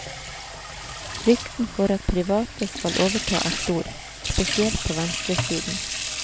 Frykten for at private skal overta er stor, spesielt på venstresiden.